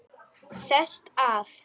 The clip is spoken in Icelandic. Sest að.